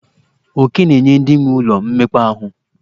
Oke na-enye ndị nwee ụlọ mmekpa ahụ.